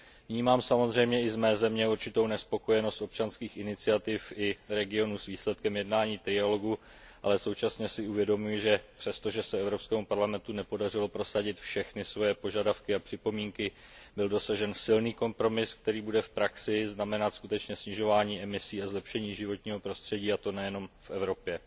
Vnímám samozřejmě i z mé země určitou nespokojenost občanských iniciativ i regionů s výsledkem jednání trialogu, ale současně si uvědomuji, že přestože se Evropskému parlamentu nepodařilo prosadit všechny své požadavky a připomínky, byl dosažen silný kompromis, který bude v praxi znamenat skutečně snižování emisí a zlepšení životního prostředí, a to nejenom v Evropě.